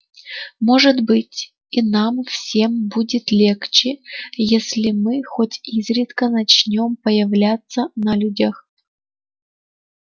может быть и нам всем будет легче если мы хоть изредка начнём появляться на людях